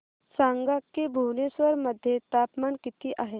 सांगा की भुवनेश्वर मध्ये तापमान किती आहे